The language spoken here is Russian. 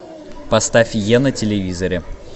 поставь е на телевизоре